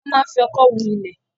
Wọ́n máa ń fi ọ̀kọ́ hu ilẹ̀